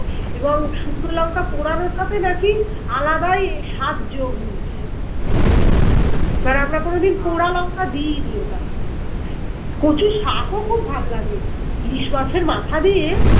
এবং শুকনো লঙ্কা পোড়ানোটাতে না কি আলাদাই এই স্বাদ যোগ হয়েছে এবার আমরা কোনোদিন পোড়া লঙ্কা দিইনি ওটাতে কচুর শাক ও খুব ভাল লাগে ইলিশ মাছের মাথা দিয়ে